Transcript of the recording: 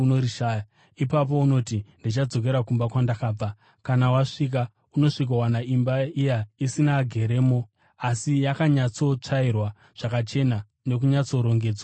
Ipapo unoti, ‘Ndichadzokera kumba kwandakabva.’ Kana wasvika, unosvikowana imba iya isina ageremo, asi yakanyatsotsvairwa zvakachena nokunyatsorongedzwa zvakanaka.